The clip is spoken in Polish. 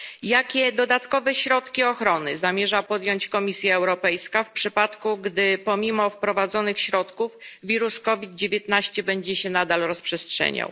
Jakie dodatkowe środki ochrony zamierza podjąć Komisja Europejska w przypadku, gdy pomimo wprowadzonych środków wirus COVID 19 będzie się nadal rozprzestrzeniał?